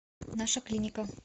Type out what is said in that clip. наша клиника